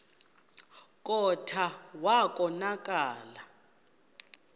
kclta wa konakala